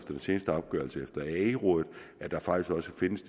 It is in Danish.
den sidste opgørelse fra ae findes